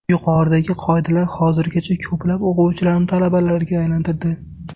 Yuqoridagi qoidalar hozirgacha ko‘plab o‘quvchilarni talabalarga aylantirdi.